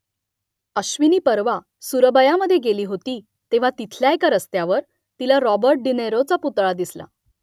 अश्विनी परवा सुरबयामधे गेली होती तेव्हा तिथल्या एका रस्त्यावर तिला रॉबर्ट डी नीरोचा पुतळा दिसला